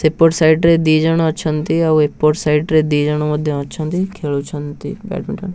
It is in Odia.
ସେପଟ ସାଇଡ ରେ ଦି ଜଣ ଅଛନ୍ତି ଆଉ ଏପଟ ସାଇଡ ରେ ଦିଜଣ ମଧ୍ୟ ଅଛନ୍ତି ଖେଳୁଛନ୍ତି ବ୍ୟାଡମିଣ୍ଟନ ।